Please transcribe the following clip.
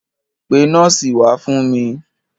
Pe nọ́ọ̀sì wá fún mi.